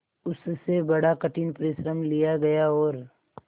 उससे बड़ा कठिन परिश्रम लिया गया और